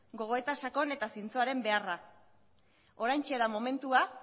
gogoeta sakon eta zintzoaren beharra oraintxe da momentua